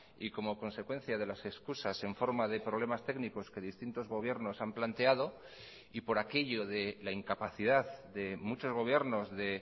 y como consecuencia de las excusas en forma de problemas técnicos que distintos gobiernos han planteado y por aquello de la incapacidad de muchos gobiernos de